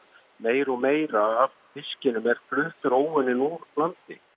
meira og meira af fiskinum er fluttur óunninn úr landi